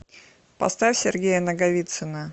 поставь сергея наговицына